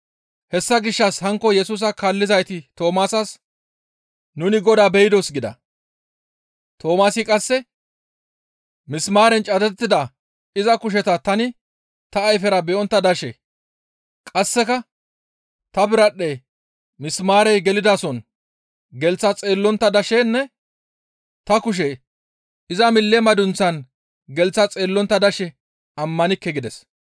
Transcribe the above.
Hessa gishshas hankko Yesusa kaallizayti Toomaasas, «Nuni Godaa be7idos» gida. Toomaasi qasse, «Misimaaren cadettida iza kusheta tani ta ayfera be7ontta dashe, qasseka ta biradhdhe misimaarey gelidason gelththa xeellontta dashenne ta kushe iza mille madunththaan gelththa xeellontta dashe ammanikke» gides.